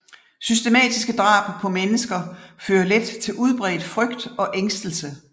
Systematiske drab på mennesker fører let til udbredt frygt og ængstelse